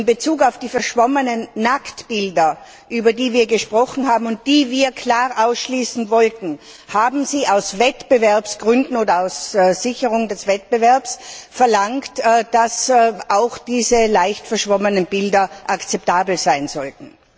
In Bezug auf die verschwommenen Nacktbilder, über die wir gesprochen haben und die wir klar ausschließen wollten, haben Sie aus Wettbewerbsgründen oder zur Sicherung des Wettbewerbs verlangt, dass auch diese leicht verschwommenen Bilder akzeptabel sein sollten.